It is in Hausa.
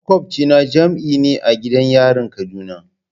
Makwabcina jami'i ne a gidan yarin kaduna.